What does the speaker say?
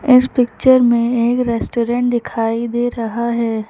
इस पिक्चर में एक रेस्टोरेंट दिखाई दे रहा है।